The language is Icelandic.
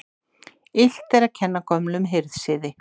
Illt er að kenna gömlum hirðsiði.